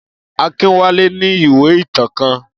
Akínwálé ní ìwé ìtàn kan.